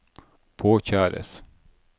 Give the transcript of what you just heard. påkjæres